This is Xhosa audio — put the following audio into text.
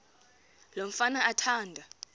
lo mfana athanda